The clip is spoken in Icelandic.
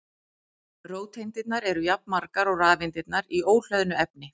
Róteindirnar eru jafnmargar og rafeindirnar í óhlöðnu efni.